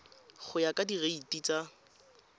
go ya ka direiti tsa